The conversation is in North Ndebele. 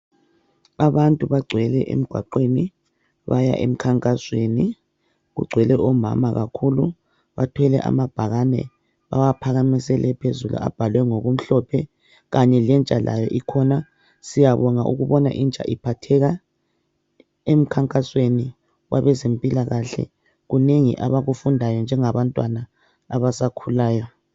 abantu bagcwele emgwaqweni baya emkhankasweni kugcwele omama kakhulu bathwele amabhakani bawaphakamisele phezulu abhalwe ngokumhlophe kanye lentsha ikhona ,siyabonga ukubona intsha iphatheka emkhankasweni wabezempilakahle kunengi abakufundayo njengabantwana abasakhulayo